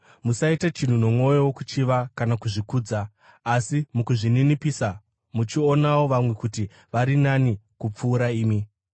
Musaita chinhu nomwoyo wokuchiva kana kuzvikudza, asi mukuzvininipisa muchionawo vamwe kuti vari nani kupfuura imi.